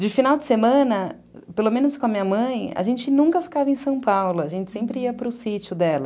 De final de semana, pelo menos com a minha mãe, a gente nunca ficava em São Paulo, a gente sempre ia para o sítio dela.